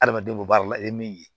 Adamadenw baara la i ye min ye